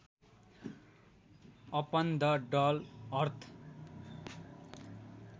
upon द डल अर्थ